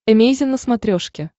эмейзин на смотрешке